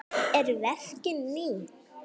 Eru verkin ný?